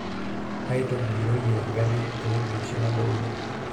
aitogiroyie engarri ewueji oshi nadounye